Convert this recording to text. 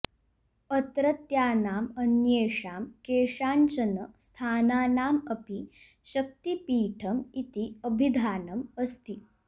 अत्रत्यानाम् अन्येषां केषाञ्चन स्थानानाम् अपि शक्तिपीठम् इति अभिधानम् अस्ति